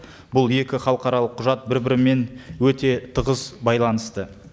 бұл екі халықаралық құжат бір бірімен өте тығыз байланысты